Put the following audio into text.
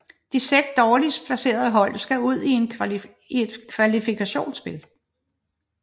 De seks dårligst placerede hold skal ud i et kvalifikationsspil